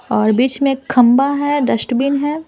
और बीच में खंबा है डस्टबिन है।